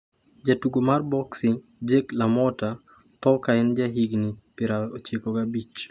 Jatugo mar boksi Jake LaMotta tho ka en gi higni 95